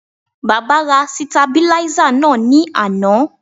Baba ra sitabiláísà náà ní àná